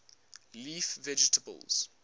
leaf vegetables